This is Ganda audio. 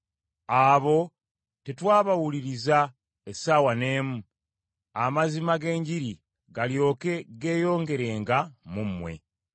abo tetwabawuliriza essaawa n’emu, amazima g’enjiri galyoke geeyongerenga mu mmwe.